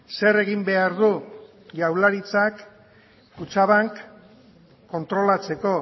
zer egin behar du jaurlaritzak kutxabank kontrolatzeko